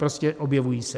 Prostě objevují se.